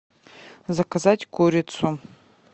заказать курицу